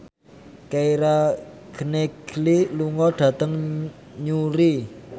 Keira Knightley lunga dhateng Newry